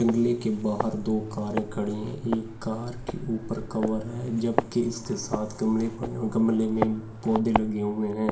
बगले के बाहर दो कारे खड़ी है एक कार के ऊपर कवर है जबकि इसके साथ गमले पड़े है गमले में पौधे लगे है ।